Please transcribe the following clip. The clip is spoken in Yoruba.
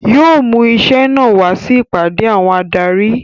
Yóò mú iṣẹ́ náà wá sí ìpàdé àwọn adarí